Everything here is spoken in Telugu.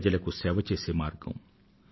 ప్రజలకు సేవ చేసే మార్గం